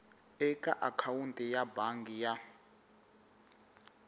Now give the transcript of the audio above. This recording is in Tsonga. eka akhawunti ya bangi ya